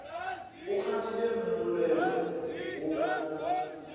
o kgadile mmolelo wo ka